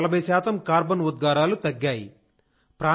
అందులో 40 శాతం కార్బన్ ఉద్గారాలు తగ్గాయి